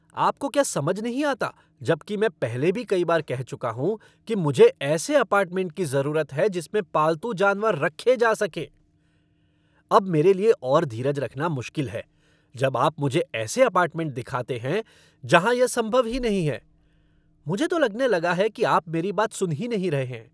आपको क्या समझ नहीं आता जबकि मैं पहले भी कई बार कह चुका हूँ कि मुझे ऐसे अपार्टमेंट की जरूरत है जिसमें पालतू जानवर रखे जा सकें। अब मेरे लिए और धीरज रखना मुश्किल है जब आप मुझे ऐसे अपार्टमेंट दिखाते है जहाँ यह संभव ही नहीं है। मुझे तो लगने लगा है कि आप मेरी बात सुन ही नहीं रहे हैं।